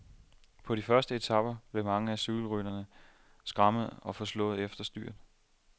På de første flade etaper blev mange af cykelrytterne skrammede og forslåede efter styrt.